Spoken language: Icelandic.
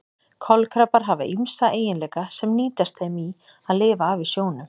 Kolkrabbar hafa ýmsa eiginleika sem nýtast þeim í að lifa af í sjónum.